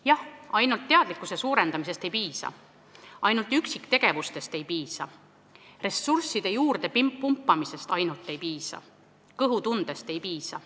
Jah, ainult teadlikkuse suurendamisest ei piisa, ainult üksiktegevustest ei piisa, ainult ressursside juurdepumpamisest ei piisa, kõhutundest ei piisa.